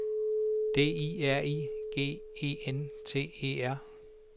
D I R I G E N T E R